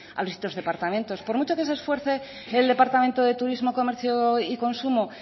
a los distintos departamentos por mucho que se esfuerce el departamento de turismo comercio y consumo